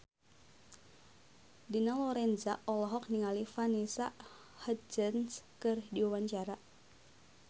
Dina Lorenza olohok ningali Vanessa Hudgens keur diwawancara